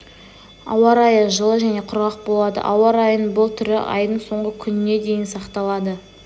ауа райы жылы және құрғақ болады ауа райының бұл түрі айдың соңғы күніне дейін сақталады